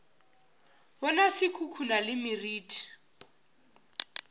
bona se khukhuna le meriti